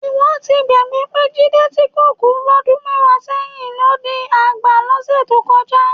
Ìwọ ti gbàgbé pé Jídé tí kò kú lọ́dún mẹ́wàá sẹ́yìn, ló di àgbà lọ́sẹ̀ tó kọjá